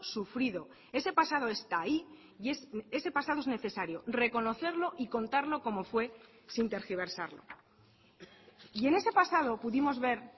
sufrido ese pasado está ahí y ese pasado es necesario reconocerlo y contarlo como fue sin tergiversarlo y en ese pasado pudimos ver